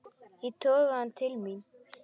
Ég toga hann til mín.